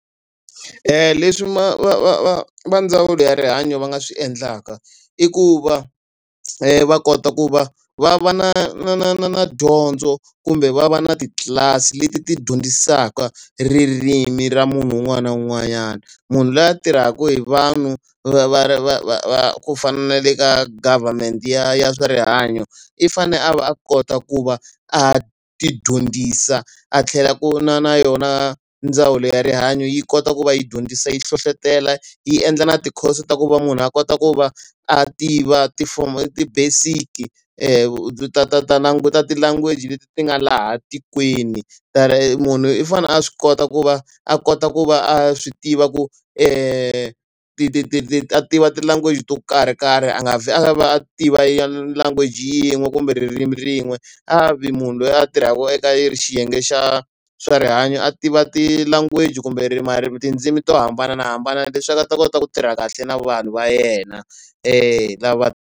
leswi va va va va ndzawulo ya rihanyo va nga swi endlaka i ku va va kota ku va va va na na na na na dyondzo kumbe va va na titlilasi leti ti dyondzisaka ririmi ra munhu un'wana na un'wanyana. Munhu loyi a tirhaka hi vanhu va va va va va ku fana na le ka government ya ya swa rihanyo, i fanele a va a kota ku va a tidyondzisa, a tlhela ku na na yona ndzawulo ya rihanyo yi kota ku va yi dyondzisa yi hlohletela, yi endla na ti-course ta ku va munhu a kota ku va a tiva tifomo ti-basic-i ta ta ta ta ti-language leti ti nga laha tikweni. Munhu i fanele a swi kota ku va a kota ku va a swi tiva ku ti ti ti ti ti a tiva ti-language to karhi karhi a nga vheli a tiva ya language yin'we kumbe ririmi rin'we. A vi munhu loyi a tirhaka eka xiyenge xa swa rihanyo, a tiva ti-language kumbe ririmi marimi tindzimi to hambanahambana leswaku a ta kota ku tirha kahle na vanhu va yena. Lava.